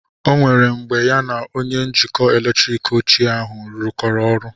O nwere mgbe ya na onye njikọ eletrik ochie ahụ rụkọrọ ọrụ